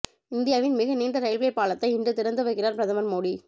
இந்தியாவின் மிக நீண்ட ரயில்வே பாலத்தை இன்று திறந்து வைக்கிறார் பிரதமர் மோடி